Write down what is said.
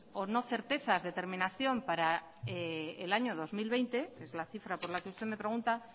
o no certezas determinación para el año dos mil veinte es la cifra por la que usted me pregunta